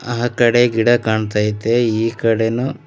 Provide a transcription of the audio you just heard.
ಆ ಕಡೆ ಗಿಡ ಕಾಣ್ತಾ ಐತೆ ಈ ಕಡೆನು--